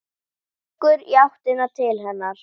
Gengur í áttina til hennar.